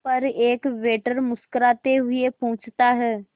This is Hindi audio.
पर एक वेटर मुस्कुराते हुए पूछता है